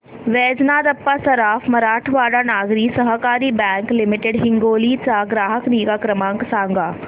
Vaijnath Appa Saraf Marathwada Nagari Sahakari bank limited Hingoli चा ग्राहक निगा क्रमांक सांगा